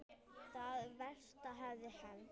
Það versta hafði hent.